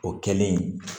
O kɛlen